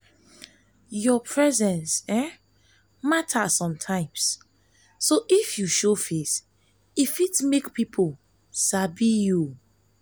your presence um matter sometimes um so if you show face e fit make pipo sabi you sabi you